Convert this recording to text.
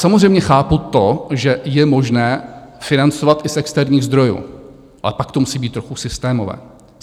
Samozřejmě chápu to, že je možné financovat i z externích zdrojů, ale pak to musí být trochu systémové.